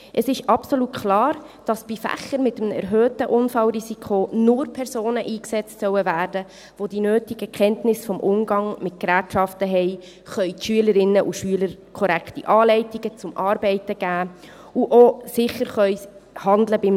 Es ist absolut klar, dass bei Fächern mit einem erhöhten Unfallrisiko nur Personen eingesetzt werden sollen, welche die nötigen Kenntnisse über den Umgang mit Gerätschaften haben, den Schülerinnen und Schülern korrekte Anleitungen zum Arbeiten geben und bei einem Unfall auch sicher handeln können.